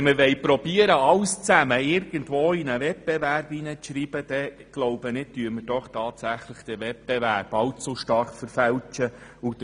Möchten wir alles in die Ausschreibung eines Wettbewerbs schreiben, so finde ich, dass dieser allzu sehr verfälscht wird.